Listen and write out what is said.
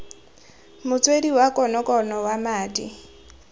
motswedi wa konokono wa madi